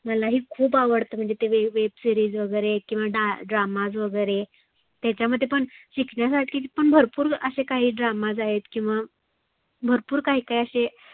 मला ही खुप आवडतं म्हणजे ते web series वगैरे किवा dramas वगैरे. त्याच्यामध्ये पण शिकण्यासारखी पण भरपुर आसे काही dramas आहेत किंवा भरपुर काही काही आसे